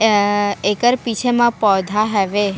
या एकर पीछे म पौधा हवे।